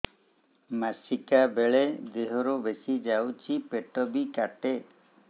ମାସିକା ବେଳେ ଦିହରୁ ବେଶି ଯାଉଛି ପେଟ ବି କାଟେ